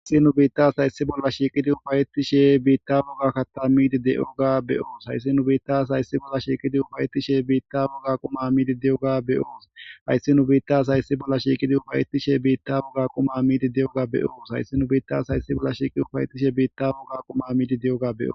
Haysi nu biita asay issi bolla shiiqid ufayetishe bitta woga kata mid diyoga be'os. Haysi nu biita asay issi bolla shiiqid ufayetishe bitta woga quma mid diyoga be'os Haysi nu biita asay issi bolla shiiqid ufayetishe bitta woga quma mid diyoga be'os .Haysi nu biita asay issi bolla shiiqid ufayetishe bitta woga quma mid diyoga be'os Haysi nu biita asay issi bolla shiiqid ufayetishe bitta woga quma mid diyoga be'os